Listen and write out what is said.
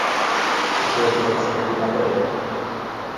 Nato je Fred stopil naprej.